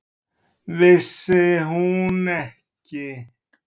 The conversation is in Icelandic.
Vissi hún ekki!